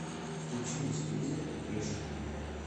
включи на телевизоре рыжий